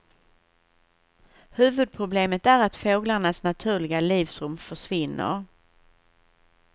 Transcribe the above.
Huvudproblemet är att fåglarnas naturliga livsrum försvinner.